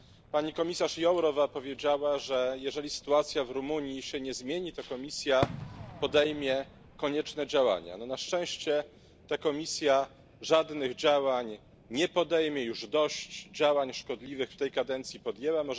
Pani komisarz Jourová powiedziała, że jeżeli sytuacja w Rumunii się nie zmieni, to Komisja podejmie konieczne działania. Na szczęście ta Komisja żadnych działań nie podejmie, już dość działań szkodliwych w tej kadencji podjęła.